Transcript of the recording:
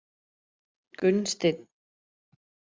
Gunnsteinn